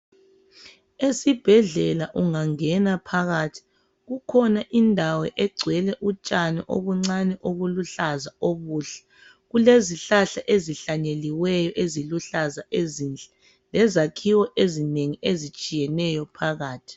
Esibhedlela ungangena phakathi, kukhona indawo egcwele utshani obuncane obuluhlaza okuhle kulezihlahla ezihlanyeliweyo eziluhlaza ezinhle lezakhiwo ezinengi ezitshiyeneyo phakathi